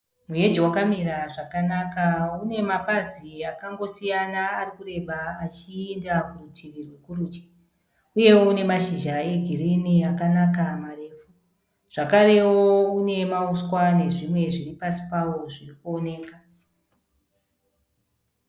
Muheji wakamira zvakanaka. Une mapazi akangosiyana arikureba achienda kurutivi rwekurudyi uyewo une mashizha egirinhi akanaka marefu zvakarewo une mahuswa nezvimwe zviripasi pawo zvirikuoneka.